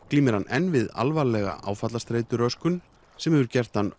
glímir hann enn við alvarlega áfallastreituröskun sem hefur gert hann